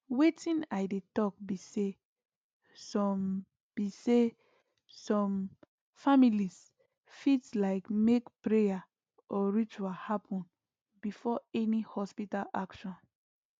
wetin i dey talk be saysome be saysome families fit like make prayer or ritual happen before any hospital action